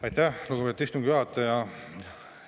Aitäh, lugupeetud istungi juhataja!